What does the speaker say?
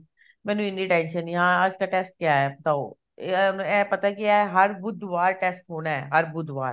ਮੈਨੂੰ ਇੰਨੀ tension ਨੀ ਹਾਂ ਆਜ ਕਾ test ਕਿਆ ਆਇਆ ਬਤਾਓ ਇਹ ਇਹ ਪਤਾ ਕੀ ਐ ਹਰ ਬੁੱਧਵਾਰ test ਹੋਣਾ ਹਰ ਬੁੱਧਵਾਰ